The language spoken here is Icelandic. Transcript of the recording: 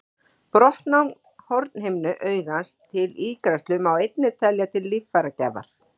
Brottnám hornhimnu augans til ígræðslu má einnig telja til líffæragjafar.